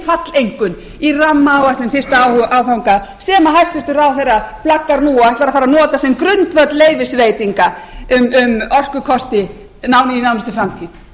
falleinkunn í rammaáætlunar fyrsta áfanga sem hæstvirtur ráðherra flaggar nú og ætlar að fara að nota sem grundvöll leyfisveitinga um orkukosti í nánustu framtíð